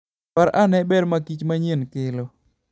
Par ane ber ma kich manyien kelo.